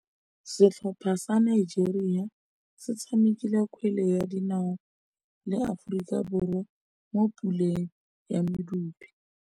Setlhopha sa Nigeria se tshamekile kgwele ya dinaô le Aforika Borwa mo puleng ya medupe.